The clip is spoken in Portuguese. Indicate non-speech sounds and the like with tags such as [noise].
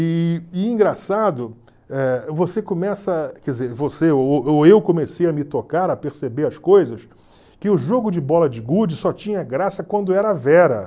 E, engraçado, eh você começa, ou ou eu comecei a me tocar, a perceber as coisas, que o jogo de bola de gude só tinha graça quando era [unintelligible]